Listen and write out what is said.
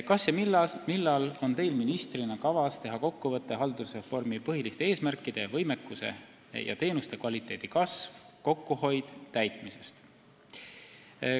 "Kas ja millal on Teil ministrina kavas teha kokkuvõte haldusreformi põhiliste eesmärkide täitmisest?